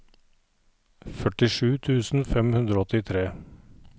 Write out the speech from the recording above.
førtisju tusen fem hundre og åttitre